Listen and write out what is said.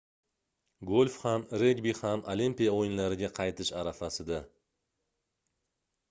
golf ham regbi ham olimpiya oʻyinlariga qaytish arafasida